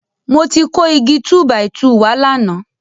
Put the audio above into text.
Mo ti kó Igi túbàìtuù wá lánàá.